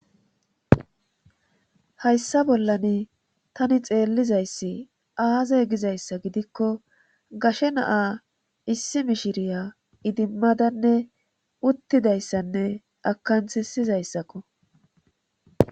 hayssa bollan tani xeellizayssi aaze gizayssa gidikko gashe naa issi mishiriya idimmadanne uttidayssanne akansisizayssakko